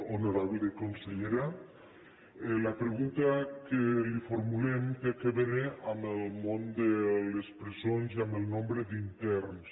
honorable consellera la pregunta que li formulem té a veure amb el món de les presons i amb el nombre d’interns